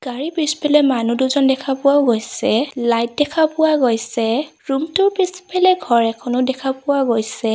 গাড়ীৰ পিছফালে মানুহ দুজন দেখা পোৱাও গৈছে লাইট দেখা পোৱা গৈছে ৰুমটোৰ পিছফালে ঘৰ এখনো দেখা পোৱা গৈছে।